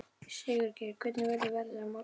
Sigurgeir, hvernig er veðrið á morgun?